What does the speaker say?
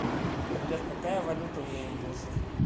сбер какая валюта у индусов